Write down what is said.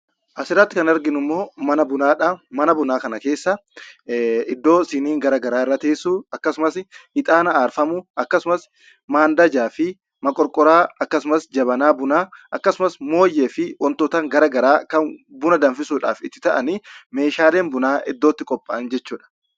As irratti kan arginu mana bunaa dha. Mana bunaa kana keessa iddoo siniin bunaa irra teessu, akkasumas ixaana aarfamu, akkasumas, mandajaa fi moqorqoriyaa, jabanaa bunaa, moonyee fi wantoota garaa garaa kan buna danfisuuf oolanii fi meeshaaleen bunaa itti qopha'an jechuu dha.